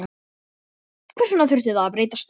Hvers vegna þurfti það að breytast?